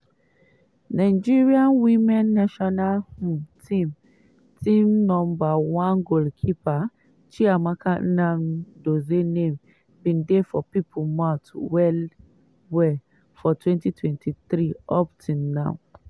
nigeria women national um team team number one goalkeeper chiamaka nnadozie name bin dey for pipo mouth well well for 2023 up till now.